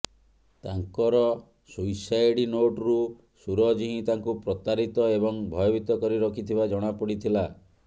ତାଙ୍କର ସୁଇସାଇଡ୍ ନୋଟରୁ ସୁରଜ୍ ହିଁ ତାଙ୍କୁ ପ୍ରତାରିତ ଏବଂ ଭୟଭୀତ କରି ରଖିଥିବା ଜଣାପଡ଼ିଥିଲା